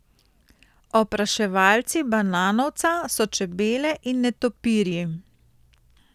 Opraševalci bananovca so čebele in netopirji.